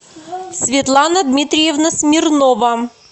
светлана дмитриевна смирнова